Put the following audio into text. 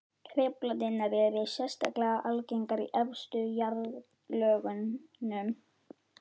Truflanirnar eru sérstaklega algengar í efstu jarðlögunum.